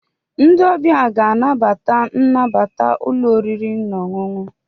Ndị ọbịa ga-anabata nnabata ụlọ oriri na ọṅụṅụ.